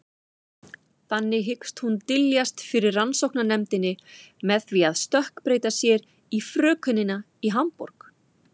Þannig hyggst hún dyljast fyrir rannsóknarnefndinni með því að stökkbreyta sér í frökenina í Hamborg.